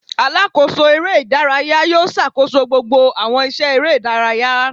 Alakoso eré idàráyá yóò ṣakoso gbogbo awọn iṣẹ eré idàráyá.